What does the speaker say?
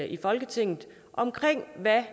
i folketinget om hvad